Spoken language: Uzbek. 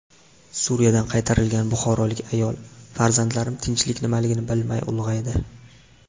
Suriyadan qaytarilgan buxorolik ayol: Farzandlarim tinchlik nimaligini bilmay ulg‘aydi.